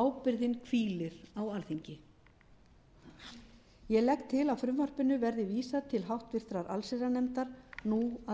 ábyrgðin hvílir á alþingi ég legg til að frumvarpinu verði vísað til háttvirtrar allsherjarnefndar nú að